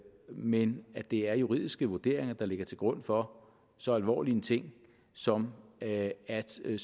men at det er juridiske vurderinger der ligger til grund for så alvorlig en ting som at at søge